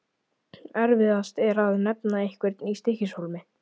Erfiðast er að nefna einhverja í Stykkishólmi.